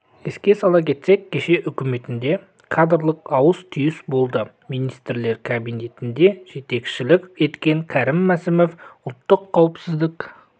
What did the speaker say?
еске сала кетсек кеше үкіметінде кадрлық ауыс-түйіс болды министрлер кабинетіне жетекшілік еткен кәрім мәсімов ұлттық қауіпсіздік